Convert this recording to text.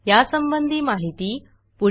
यासंबंधी माहिती पुढील साईटवर उपलब्ध आहे